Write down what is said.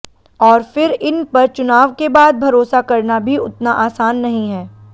और फिर इन पर चुनाव के बाद भरोसा करना भी उतना आसान नहीं है